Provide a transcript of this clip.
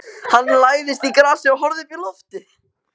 Hann lagðist í grasið og horfði uppí loftið.